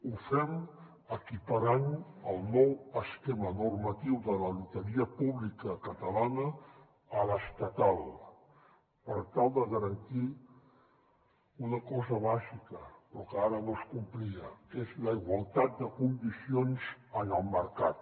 ho fem equiparant el nou esquema normatiu de la loteria pública catalana a l’estatal per tal de garantir una cosa bàsica però que ara no es complia que és la igualtat de condicions en el mercat